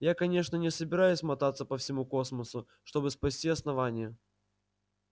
я конечно не собираюсь мотаться по всему космосу чтобы спасти основание